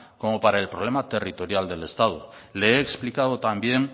como para el problema territorial del estado le he explicado también